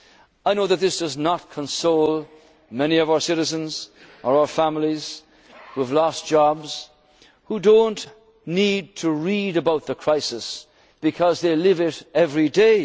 and development mode. I know that this does not console many of our citizens or our families who have lost jobs, who do not need to read about the crisis because they